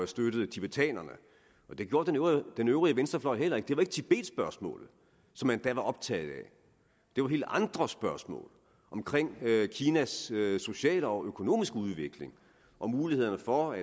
støttede tibetanerne og det gjorde den øvrige venstrefløj heller ikke det var ikke tibetspørgsmålet som man da var optaget af det var helt andre spørgsmål omkring kinas sociale og økonomiske udvikling og mulighederne for at